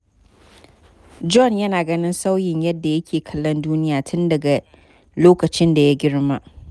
John yana ganin sauyin yadda yake kallon duniya tun daga lokacin da ya girma.